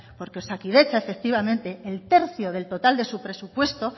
porque osakidetza efectivamente el tercio del total de su presupuesto